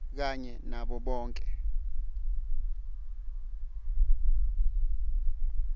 kanye nabo bonkhe